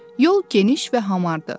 Yol geniş və hamardır.